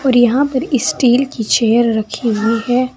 और यहां पर स्टील कि चेयर रखी हुई है।